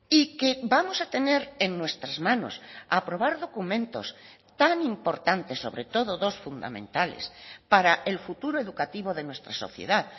y que vamos a tener en nuestras manos aprobar documentos tan importantes sobre todo dos fundamentales para el futuro educativo de nuestra sociedad